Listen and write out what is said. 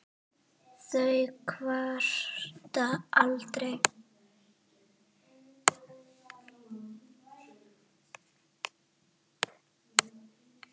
þau kvarta aldrei.